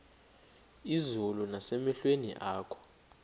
izulu nasemehlweni akho